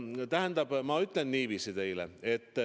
Tähendab, ma ütlen teile niiviisi.